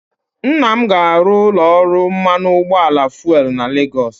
Nna m ga-arụ ụlọ ọrụ mmanụ ụgbọala fuelu na Legọs